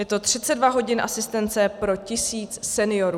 Je to 32 hodin asistence pro tisíc seniorů.